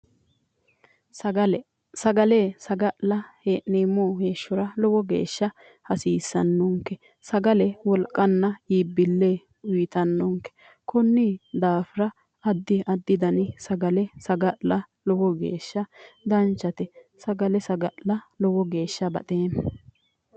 sagale sagale saga'la hee'nemmo heeshshora lowo geeshsha hasiissannonke sagle wolqanna iibbille uyitannonke kunni daafira addia addi dani sagale saga'la danchate sagale saga'la lowo geeshsha baxeema